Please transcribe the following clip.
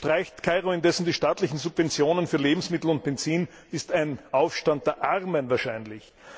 Streicht Kairo indessen die staatlichen Subventionen für Lebensmittel und Benzin, ist ein Aufstand der Armen wahrscheinlich.